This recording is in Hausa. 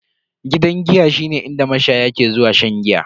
Gidan giya shine inda mashaya ke zuwa shan giya.